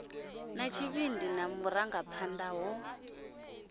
na tshivhindi na vhurangaphanḓa ho